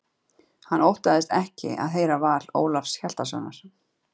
Hann óttaðist ekki að heyra val Ólafs Hjaltasonar.